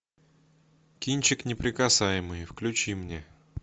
кинчик неприкасаемые включи мне